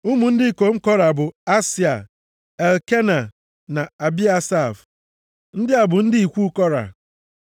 Ụmụ ndị ikom Kora bụ, Asịa, Elkena na Abiasaf. Ndị a bụ ndị ikwu Kora.